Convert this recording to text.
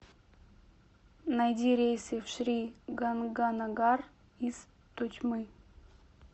найди рейсы в шри ганганагар из тотьмы